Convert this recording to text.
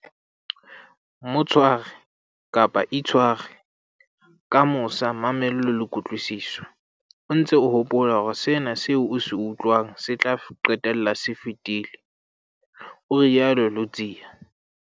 "Mo tshware, kapa itshware, ka mosa, mamello le kutlwisiso, o ntse o hopola hore sena seo o se utlwang se tla qetella se fetile," o rialo Ludziya.